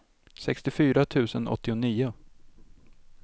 sextiofyra tusen åttionio